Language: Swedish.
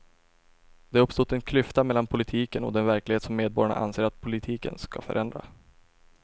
Det har uppstått en klyfta mellan politiken och den verklighet som medborgarna anser att politiken ska förändra.